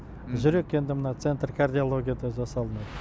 жүрек енді мына центр кардиологияда жасалынады